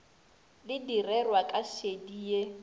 le direrwa ka šedi ye